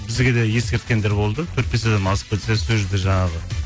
бізге де ескерткендер болды төрт бес адамнан асып кетсе сол жерде жаңағы